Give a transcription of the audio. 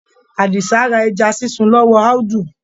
Àdìsá ra ẹja sísun lọ́wọ́ Audu.